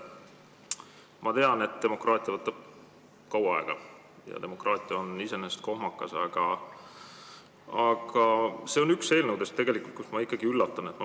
Ma tean, et demokraatia võtab kaua aega ja demokraatia on iseenesest kohmakas, aga see on üks eelnõudest, mille tõttu ma ikkagi üllatun.